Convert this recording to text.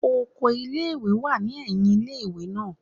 Okọ̀ ìlé-ìwé wa ni ẹhìn ìlé-ìwé naa